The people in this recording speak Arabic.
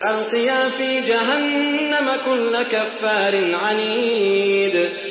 أَلْقِيَا فِي جَهَنَّمَ كُلَّ كَفَّارٍ عَنِيدٍ